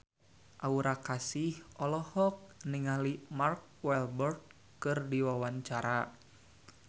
Aura Kasih olohok ningali Mark Walberg keur diwawancara